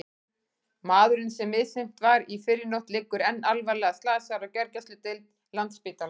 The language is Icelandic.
Maðurinn sem misþyrmt var í fyrrinótt liggur enn alvarlega slasaður á gjörgæsludeild Landspítalans.